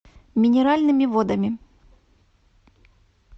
минеральными водами